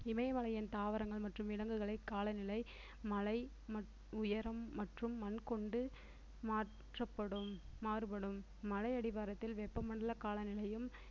இமயமலையின் தாவரங்கள் மற்றும் விலங்குகளை காலநிலை மலை மட்~ உயரம் மற்றும் மண் கொண்டு மாற்றப்படும் மாறுபடும் மலையடிவாரத்தில் வெப்பமண்டல காலநிலையும்